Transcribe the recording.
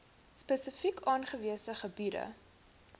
spesifiek aangewese gebiede